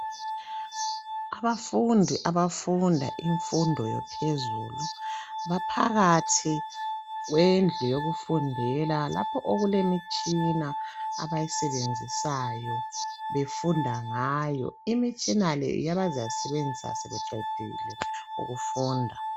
Abafundi abafunda imfundo yaphezulu, baphakathi kwendlu yokufundela lapho okulemitshina abayisebenzisayo befunda ngayo. Imitshina le yiyo abazayisebenzisa sebeqedile ukufunda.